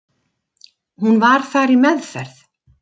Hún var þar í meðferð.